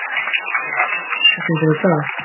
Broddi, hver er dagsetningin í dag?